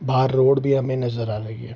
बाहर रोड भी हमें नजर आ रही है।